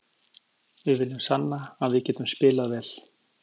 Við viljum sanna að við getum spilað vel.